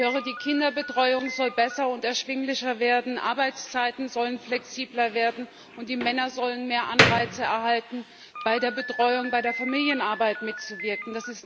Ich höre, die Kinderbetreuung soll besser und erschwinglicher werden, Arbeitszeiten sollen flexibler werden, und die Männer sollen mehr Anreize erhalten, bei der Betreuung, bei der Familienarbeit mitzuwirken.